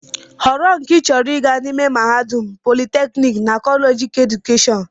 Họrọ nke ị chọrọ ịga n'ime mahadum, politeknik na kọleeji keedukeshọn!